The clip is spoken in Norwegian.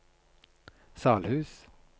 Salhus